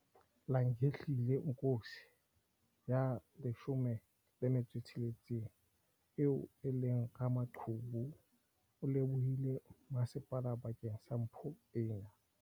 Langelihle Nkosi ya 16 eo e leng ramaqhubu o lebohile masepala bakeng sa mpho ena.